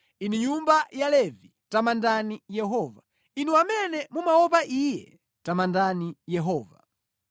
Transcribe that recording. Inu nyumba ya Levi, tamandani Yehova; Inu amene mumaopa Iye, tamandani Yehova.